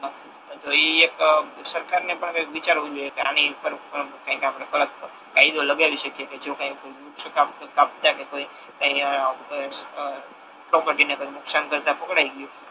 તો ઈ એક સરકાર ને પણ કઈક વિચારવુ જોઈએ કે આની ઉપર કઈક આપડે બ કાયદો લગાડી શકીએ કે જો કઈક વૃક્ષ કાપતા કે કોઈ કઈ આ બ એ પ્રોપર્ટી ને કઈક નુકશાન કરતા પકડાઈ ગયુ.